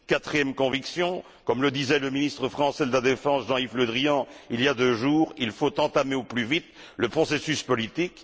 Ma quatrième conviction, comme le disait le ministre français de la défense, Jean Yves Le Drian, il y a deux jours, c'est qu'il faut entamer au plus vite le processus politique.